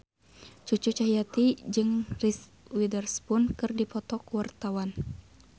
Cucu Cahyati jeung Reese Witherspoon keur dipoto ku wartawan